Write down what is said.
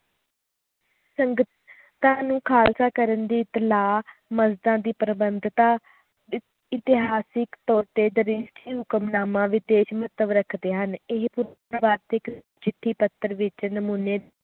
ਸੰਗਤਾਂ ਨੂੰ ਖਾਲਸਾ ਕਰਨ ਦੇ ਖਿਲਾਫ ਮੁਲਤਾਨ ਦੀ ਪ੍ਰਬੰਧਤਤਾ ਇਸ ਇਤਿਹਾਸਕ ਤੌਰ ਤੇ ਹੁਕਮਨਾਮਾ ਵਿਚ ਤੇਜ ਮਹੱਤਵ ਰੱਖਦੇ ਹ ਨ ਇਹ ਚਿੱਠੀ ਪੱਤਰ ਵਿਚ ਨਮੂਨੇ